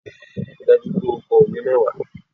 Ríi dájú wípé o ko òwe mẹ́wàá